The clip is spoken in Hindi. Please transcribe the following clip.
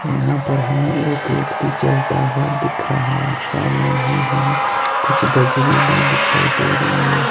यहां पर हमें एक व्यक्ति चलता हुआ दिख रहा है। सामने ही हमें कुछ बजरी भी दिखाई दे रही है।